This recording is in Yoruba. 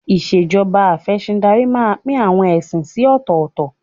Ìṣèjọba Afẹ̀sìndarí máa pín àwọn ẹ̀sìn sí ọ̀tọ̀ọ̀tọ̀